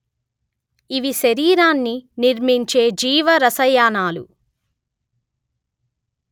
ఇవి శరీరాన్ని నిర్మించే జీవ రసాయనాలు